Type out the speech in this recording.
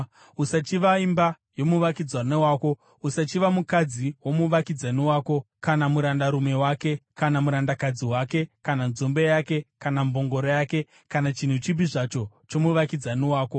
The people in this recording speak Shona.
Usachiva imba yomuvakidzani wako. Usachiva mukadzi womuvakidzani wako, kana murandarume wake, kana murandakadzi wake, kana nzombe yake, kana mbongoro yake, kana chinhu chipi zvacho chomuvakidzani wako.”